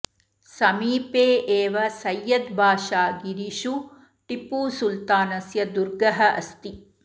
समीपे एव सय्यद् बाषागिरिषु टिप्पू सुल्तानस्य दुर्गः अस्ति